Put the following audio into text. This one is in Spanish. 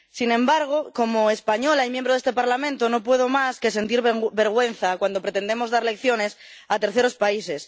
Sin embargo, como española y miembro de este Parlamento, no puedo más que sentir vergüenza cuando pretendemos dar lecciones a terceros países.